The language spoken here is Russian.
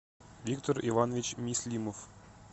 виктор иванович мислимов